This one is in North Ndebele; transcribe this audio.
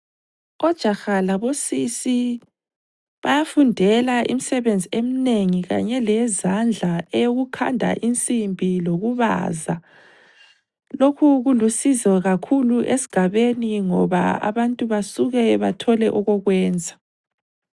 Ojaha labosisi bayafundela imsebenzi emnengi kanye leyezandla eyokukhanda insimbi lokubaza. Lokhu kulusizo kakhulu esigabeni ngoba abantu basuke bathole okokwenza.